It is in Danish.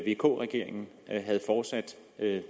vk regeringen havde fortsat